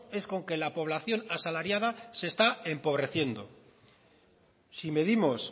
es con que la población asalariada se está empobreciendo si medimos